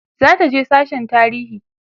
zataje sasshen tarihi